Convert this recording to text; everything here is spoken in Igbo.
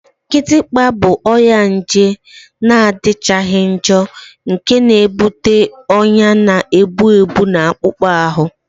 Kịtịkpa bụ ọrịa nje na-adịchaghị njọ nke na-ebute ọnya na-egbu mgbu na akpụkpọ ahụ